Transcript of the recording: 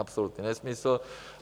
Absolutní nesmysl.